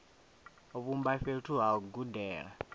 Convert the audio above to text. vhumba fhethu ha u gudela